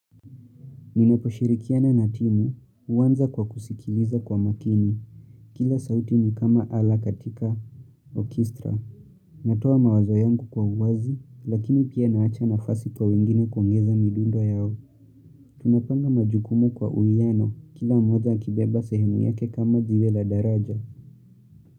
Ninaposhirikiana natimu huanza kwa kusikiliza kwa makini. Kila sauti ni kama ala katika okistra. Natoa mawazo yangu kwa uwazi lakini pia naacha nafasi kwa wengine kuongeza midundo yao. Tunapanga majukumu kwa uwiano kila mmoja akibeba sehemu yake kama jiwe la daraja.